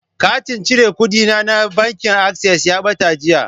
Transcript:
Katin cire kuɗina na bankin Access ya ɓata jiya.